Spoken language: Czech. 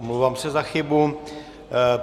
Omlouvám se za chybu.